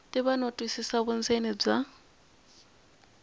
tiva no twisisa vundzeni bya